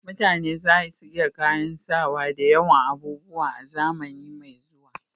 Mutane za su iya kayan sawa da yawan abubuwa a zamani mai zuwa